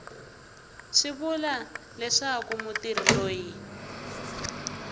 swi vula leswaku mutirhi loyi